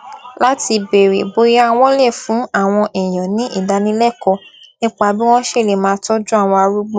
láti béèrè bóyá wón lè fún àwọn èèyàn ní ìdálékòó nípa bí wón ṣe lè máa tójú àwọn arúgbó